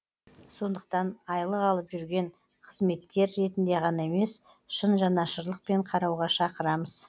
сондықтан айлық алып жүрген қызметкер ретінде ғана емес шын жанашырлықпен қарауға шақырамыз